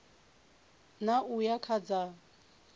ṋ a uya kha dza